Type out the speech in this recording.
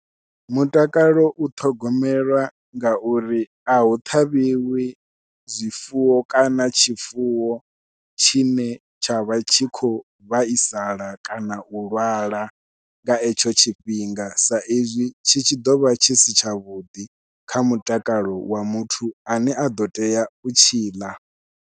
Mutakalo u ṱhogomelwa ngauri a hu ṱhavhiwi zwifuwo kana tshifuwo tshine tsha vha tshi khou vhaisala kana u lwala nga etsho tshifhinga sa izwi tshi tshi ḓovha tshi si tshavhuḓi kha mutakalo wa muthu ane a ḓo tea u tshi ḽa.